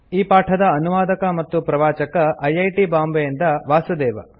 ಈ ಪಾಠದ ಅನುವಾದಕ ಮತ್ತು ಪ್ರವಾಚಕ ಐ ಐ ಟಿ ಬಾಂಬೆಯಿಂದ ವಾಸುದೇವ